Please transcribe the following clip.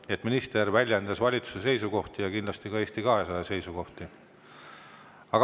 Nii et minister väljendas valitsuse seisukohti ja kindlasti ka Eesti 200 seisukohti.